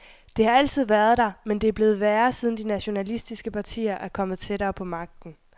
Det har altid været der, men det er blevet værre, siden de nationalistiske partier er kommet tættere på magten.